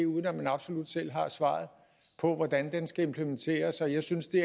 uden at man absolut selv har svaret på hvordan den skal implementeres og jeg synes det